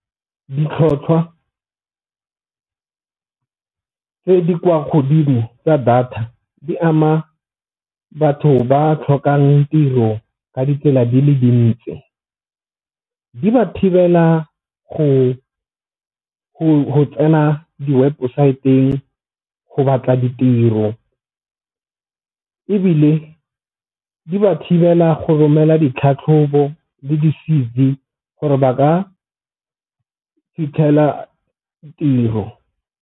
Ditlhotlhwa tse di kwa godimo tsa data di ama batho ba tlhokang tiro ka ditsela di le , di ba thibela go tsena di-website-ng go batla ditiro. Ebile di ba thibela go romela ditlhatlhobo le di-C_V gore ba ka fitlhela tiro.